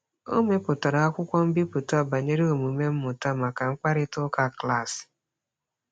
O mepụtara akwụkwọ mbipụta banyere omume mmụta maka mkparịtaụka klaasị.